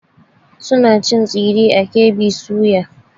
Suna cin tsire a KB soya.